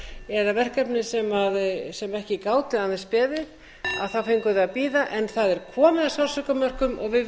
eða verkefni sem ekki gátu aðeins beðið þá fengum við að bíða en það er komið að sársaukamörkum og verið